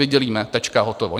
Vydělíme, tečka, hotovo.